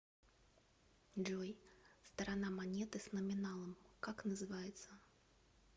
джой сторона монеты с номиналом как называется